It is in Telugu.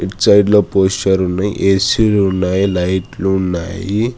సైడ్ లో పోషర్ ఉన్నాయి ఏ_సీ లు ఉన్నాయి లైట్లు ఉన్నాయి